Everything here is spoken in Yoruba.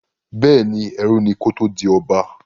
Bẹ́ẹ̀ni, ẹrú ni kó tó di ọba.